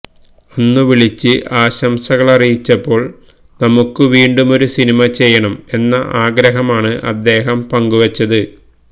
അന്ന് വിളിച്ച് ആശംസകളറിയിച്ചപ്പോള് നമുക്ക് വീണ്ടുമൊരുസിനിമ ചെയ്യണം എന്ന ആഗ്രഹമാണ് അദ്ദേഹം പങ്കുവെച്ചത്